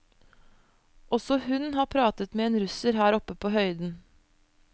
Også hun har pratet med en russer her oppe på høyden.